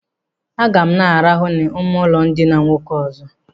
Aga m na- arahụ n'ime ụlọ ndina nwoke ọzọ?